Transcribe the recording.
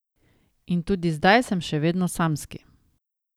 In tudi zdaj sem še vedno samski.